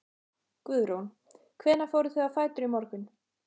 Guðrún: Hvenær fóruð þið á fætur í morgun?